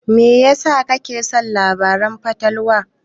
Me yasa kake son labaran fatalwa?